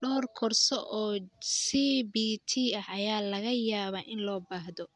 Dhowr koorso oo CBT ah ayaa laga yaabaa in loo baahdo.